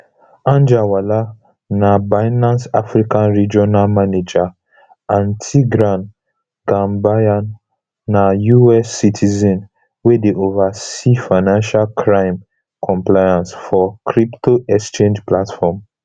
anjarwalla na binance africa regional manager and tigran gambaryan na us citizen wey dey oversee financial crime compliance for crypto exchange platform